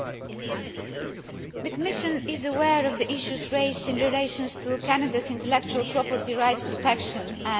The Commission is aware of the issues raised in relation to Canada's intellectual property rights protection and enforcement.